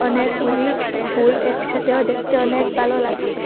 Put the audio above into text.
অনেকগুলি ফুল একসাথেও দেকতে অনেক বালো লাগছে।